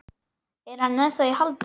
Er hann ennþá í haldi?